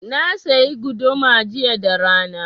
Na sayi guduma jiya da rana.